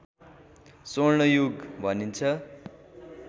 स्वर्ण युग भनिन्छ